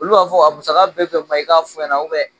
Olu b'a fɔ a musaka bɛ bɛn mun ma i k'a fɔ n ɲɛna